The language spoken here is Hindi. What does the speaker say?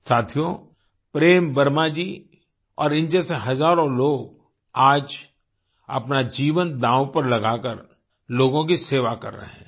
साथियो प्रेम वर्मा जी और इन जैसे हजारों लोग आज अपना जीवन दाव पर लगाकर लोगों की सेवा कर रहे हैं